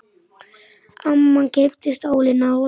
Amman keypti stólinn að lokum.